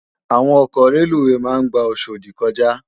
Àwón òkò rélúwé má n gbá Oshodi kòjá